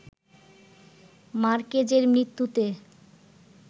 মার্কেজের মৃত্যুতে